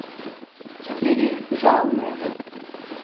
Štirih žal ne.